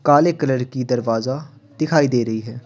काले कलर की दरवाजा दिखाई दे रही है।